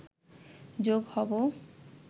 যোগ হব